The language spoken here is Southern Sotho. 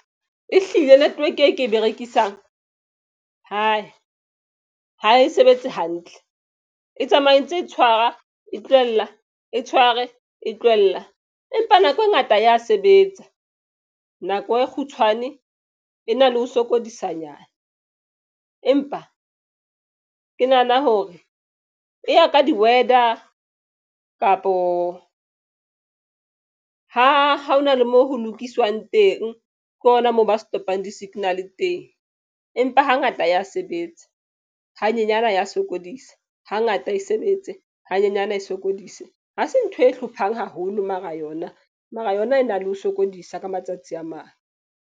E hlile network e ke e berekisang ha e sebetse hantle, e tsamaye e ntse e tshwara, e tlohella e tshware e tlohella. Empa nako e ngata ya sebetsa nako e kgutshwane e na le ho sokodisanyana. Empa ke nahana hore e ya ka di-weather kapo ha hona le mo ho lokiswang teng, ke hona moo ba setopong di-signal-e teng. Empa hangata ya sebetsa hanyenyana ya sokodisa, hangata e sebetse hanyenyana e sokodise ha se ntho e hlophang haholo mara yona. Mara yona e na le ho sokodisa ka matsatsi a mang.